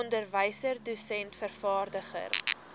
onderwyser dosent vervaardiger